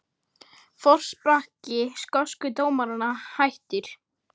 Forsprakki skosku dómaranna hættur